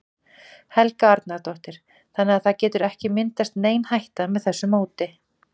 Helga Arnardóttir: Þannig að það getur ekki myndast nein hætta með þessu móti?